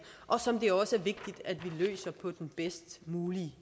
og som det også vigtigt at vi løser på den bedst mulige